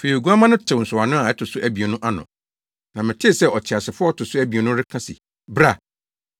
Afei Oguamma no tew nsɔwano a ɛto so abien no ano, na metee sɛ ɔteasefo a ɔto so abien no reka se, “Bra!”